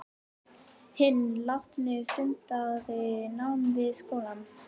Hinn látni stundaði nám við skólann